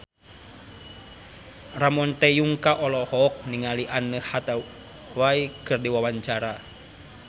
Ramon T. Yungka olohok ningali Anne Hathaway keur diwawancara